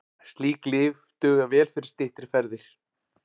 Slík lyf duga vel fyrir styttri ferðir.